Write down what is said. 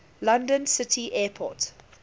london city airport